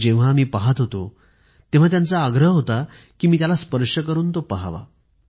आणि जेव्हा मी पाहत होतो तेव्हा त्यांचा आग्रह होता कि मी त्याला स्पर्श करून तो पहावा